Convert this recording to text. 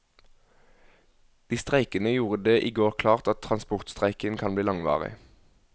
De streikende gjorde det i går klart at transportstreiken kan bli langvarig.